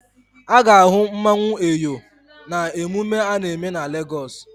A ga-ahụ mmanwụ Eyo na-emume a na-eme na Legọs.